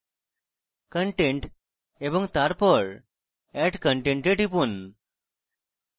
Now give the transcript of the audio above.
content এবং তারপর add content এ টিপুন